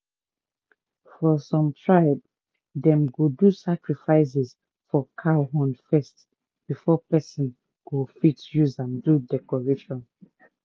for some tribe dem go do sacrifices for cow horn first before person go fit use am do decoration